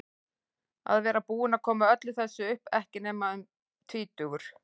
Að vera búinn að koma öllu þessu upp, ekki nema tvítugur.